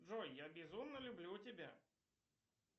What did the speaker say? джой я безумно люблю тебя